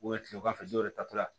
tilegan fɛ dɔw yɛrɛ tatɔ la